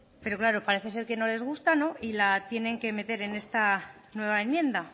pero claro parece ser que no les gusta y la tienen que meter en esta nueva enmienda